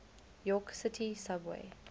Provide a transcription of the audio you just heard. york city subway